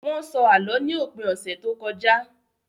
Wọ́n sọ Àlọ́ ní òpin ọ̀sẹ̀ tó kọjá